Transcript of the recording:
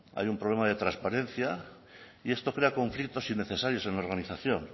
haya un problema de transparencia y esto crea conflictos innecesarios en organización